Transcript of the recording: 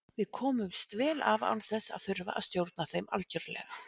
við komumst vel af án þess að þurfa að stjórna þeim algjörlega